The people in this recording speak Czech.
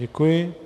Děkuji.